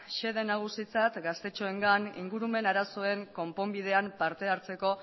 xede nagusitzat gaztetxoengan ingurumen arazoen konponbidean partehartzeko